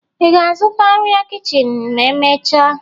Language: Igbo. Ị ga-azụta arịa kichin ma emechaa?